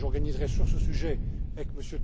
Et j'organiserai sur ce sujet, avec